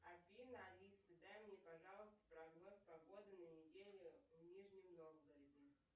афина алиса дай мне пожалуйста прогноз погоды на неделю в нижнем новгороде